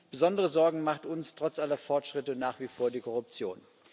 Besondere Sorgen macht uns trotz aller Fortschritte nach wie vor die Korruption.